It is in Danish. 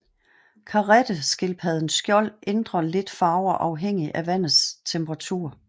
Karetteskildpaddens skjold ændrer lidt farver afhængigt af vandets temperatur